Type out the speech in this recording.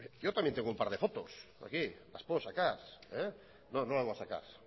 yo también tengo un par de fotos aquí las puedo sacar no no las voy a sacar